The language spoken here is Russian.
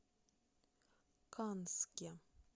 канске